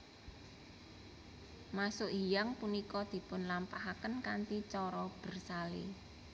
Masuk hiyang punika dipun lampahaken kanthi cara bersale